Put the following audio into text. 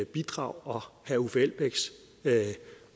bidrag og herre uffe elbæks